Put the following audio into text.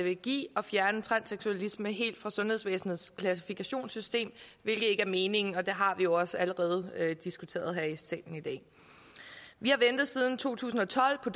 vil give at fjerne transseksualisme helt fra sundhedsvæsenets klassifikationssystem hvilket ikke er meningen og det har vi jo også allerede diskuteret her i salen i dag vi har ventet siden to tusind og tolv på